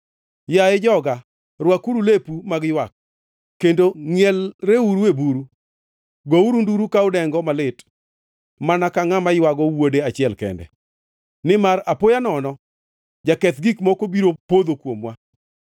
Yaye joga, rwakuru lepu mag ywak kendo ngʼielreuru e buru; gouru nduru ka udengo malit mana ka ngʼama ywago wuode achiel kende, nimar apoya nono jaketh gik moko biro podho kuomwa.